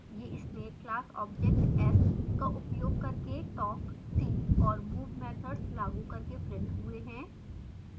ये snake class object s का उपयोग करके talk see और move मैथड्स लागू करके printed हुए हैं